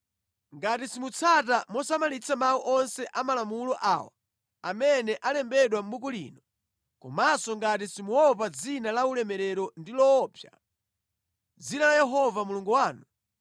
Ngati simutsata mosamalitsa mawu onse a malamulo awa amene alembedwa mʼbuku lino, komanso ngati simuopa dzina la ulemerero ndi loopsa, dzina la Yehova Mulungu wanu,